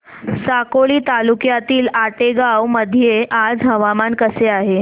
साकोली तालुक्यातील आतेगाव मध्ये आज हवामान कसे आहे